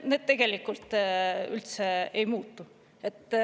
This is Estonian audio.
Need tegelikult üldse ei muutu.